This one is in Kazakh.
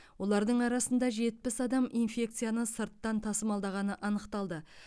олардың арасында жетпіс адам инфекцияны сырттан тасымалдағаны анықталды